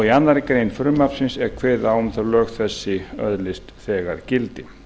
í annarri grein frumvarpsins er kveðið á um að lög þessi öðlist þegar gildi